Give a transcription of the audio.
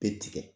Bɛɛ tigɛ